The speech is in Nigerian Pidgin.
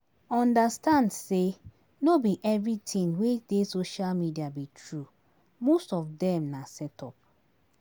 Understand sey no be everything wey dey social media be true, most of dem na set up